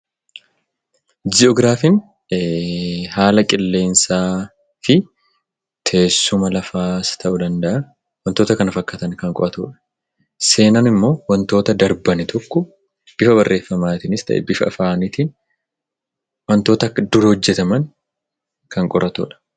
Ji'oograafiin haala qilleensaa fi teessuma lafaas ta'uu danda'aa wantoota kana fakkaatan kan qo'atuu. Seenaan immoo wantoota darban tokko bifa barreeffamaatiinis ta'e bifa afaaniitiin wantoota dura hojjetaman kan qoratudha.